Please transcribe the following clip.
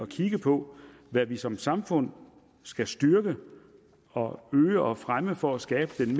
kigge på hvad vi som samfund skal styrke og øge og fremme for at skabe den